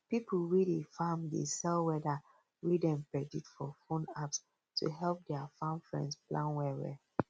pipo wey dey farm dey sell weather wey dem predict for phone apps to help dia farm friends plan well well